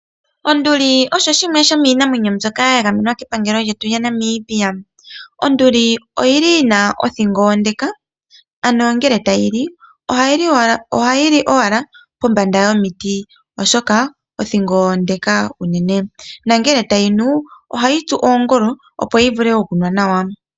Onduli osho shimwe shomiinamwenyo mbyoka yagamenwa kepangelo lyetu lyaNamibia. Onduli oyili yina othingo onde ano ngele tayi li ohayi li owala kombanda yomiti oshoka othingo onde uunene. Ngele tayi nu ohayi tsu oongolo opo yi vule okunwa nawa.